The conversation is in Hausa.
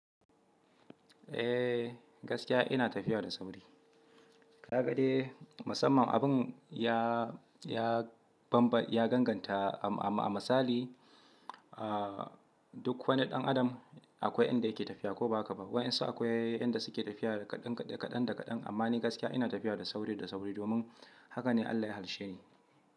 Eh gaskiya ina tafiya da sauri. Ka ga dai, musamman abun ya, ya banba ya danganta a, a, a misali, ah duk wani ɗan adam akwai inda yake tafiya ko ba haka ba. Waɗansu akwai inda suke tafiya kaɗan, kaɗan, kaɗan, amma ni gaskiya ina tafiya da sauri, da sauri domin haka ne Allah ya halilshe ni.